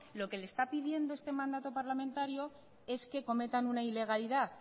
lo que le está pidiendo este mandato parlamentario es que cometan una ilegalidad